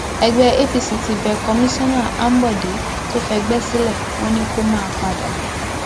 ẹgbẹ apc ti bẹ kọmíṣánná ambode tó fẹgbẹ sílẹ wọn ni kó máa padà bọ